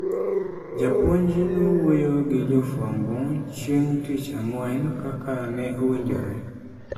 Japuonj nowuoyo gi jofwambo chieng tich Ang'wen kaka ne owinjore.